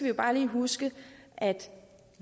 jo bare lige huske